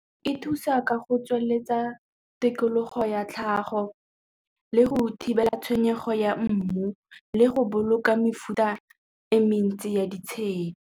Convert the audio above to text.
E thusa ka go tsweletsa tikologo ya tlhago le go thibela tshenyego ya mmu le go boloka mefuta e mentsi ya ditshedi.